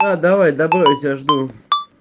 да давай добро я тебя жду